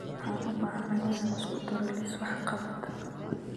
Waxaan u baahanahay inaan isku daro liis wax-qabad